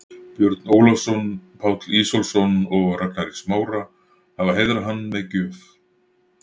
Björn Ólafsson, Páll Ísólfsson og Ragnar í Smára, hafa heiðrað hann með gjöf.